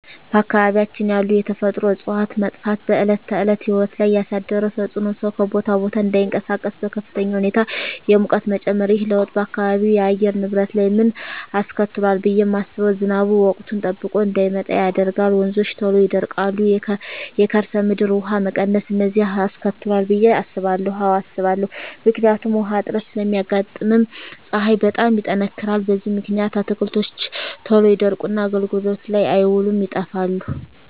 በአካባቢያችን ያሉ የተፈጥሮ እፅዋት መጥፋት በዕለት ተዕለት ሕይወት ላይ ያሣደረው ተፅኖ ሠው ከቦታ ቦታ እዳይንቀሣቀስ፤ በከፍተኛ ሁኔታ የሙቀት መጨመር። ይህ ለውጥ በአካባቢው የአየር ንብረት ላይ ምን አስከትሏል ብየ ማስበው። ዝናብ ወቅቱን ጠብቆ እዳይመጣ ያደርጋል፤ ወንዞች ቶሎ ይደርቃሉ፤ የከርሠ ምድር ውሀ መቀነስ፤ እነዚን አስከትሏል ብየ አስባለሁ። አዎ አስባለሁ። ምክንያቱም ውሀ እጥረት ስለሚያጋጥም፤ ፀሀይ በጣም ይጠነክራል። በዚህ ምክንያት አትክልቶች ቶሎ ይደርቁና አገልግሎት ላይ አይውሉም ይጠፋሉ።